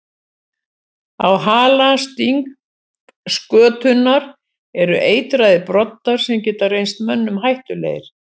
Á hala stingskötunnar eru eitraðir broddar sem geta reynst mönnum hættulegir.